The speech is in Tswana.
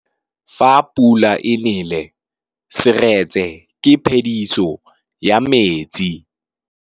Fa pula e nelê serêtsê ke phêdisô ya metsi.